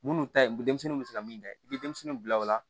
Minnu ta ye denmisɛnninw bɛ se ka min da i bɛ denmisɛnninw bila o la